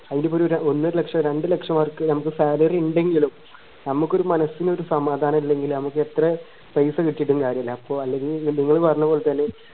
അയിലിപ്പോരു ഒന്നര ലക്ഷം രണ്ട്‌ ലക്ഷം ആൾക്ക് salary ഇണ്ടെങ്കിലും നമുക് ഒരു മനസിനൊരു സമാധാനം ഇല്ലെങ്കിൽ നമക്ക് എത്ര പൈസ കിട്ടീട്ടു കാര്യമില്ല അപ്പൊ അല്ലെങ്കിൽ നിങ്ങൾ പറഞ്ഞ പോലെ തന്നെ